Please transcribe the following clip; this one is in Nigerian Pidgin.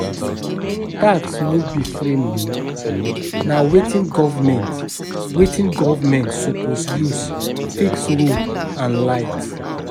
Tax no be free money, na wetin government, wetin government suppose use fix road and light.